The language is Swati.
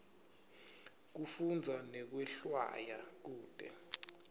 kufundza nekwehlwaya kute